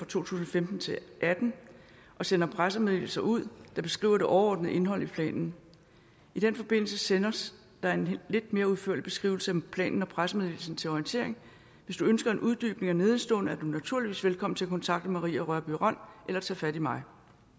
tusind og femten til atten og sender pressemeddelelser ud der beskriver det overordnede indhold i planen i den forbindelse sendes der en lidt mere udførlig beskrivelse end planen og pressemeddelelsen til orientering hvis du ønsker en uddybning af nedenstående er du naturligvis velkommen til kontakte maria rørbye rønn eller tage fat i mig